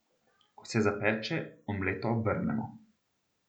Ko se zapeče, omleto obrnemo.